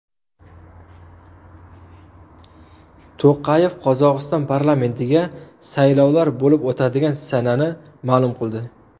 To‘qayev Qozog‘iston parlamentiga saylovlar bo‘lib o‘tadigan sanani ma’lum qildi.